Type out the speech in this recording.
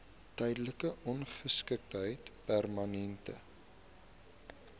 tydelike ongeskiktheid permanente